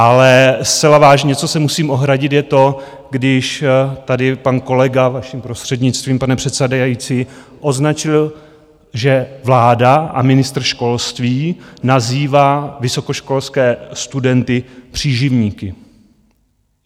Ale zcela vážně, co se musím ohradit je to, když tady pan kolega, vaším prostřednictvím pane předsedající, označil, že vláda a ministr školství nazývá vysokoškolské studenty příživníky.